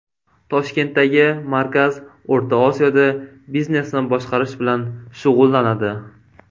Toshkentdagi markaz O‘rta Osiyoda biznesni boshqarish bilan shug‘ullanadi.